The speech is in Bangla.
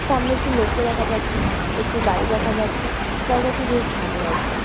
সামনে একটি লোককে দেখা যাচ্ছে। একটি গাড়ি দেখা যাচ্ছে। জায়গাটি বেশ ভালো লাগছে।